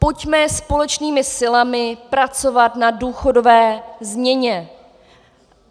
Pojďme společnými silami pracovat na důchodové změně.